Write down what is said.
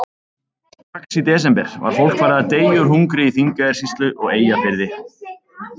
Strax í desember var fólk farið að deyja úr hungri í Þingeyjarsýslu og Eyjafirði.